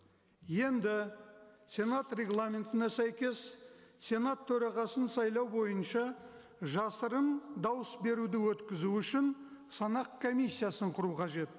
енді сенат рагламентіне сәйкес сенат төрағасын сайлау бойынша жасырын дауыс беруді өткізу үшін санақ комиссиясын құру қажет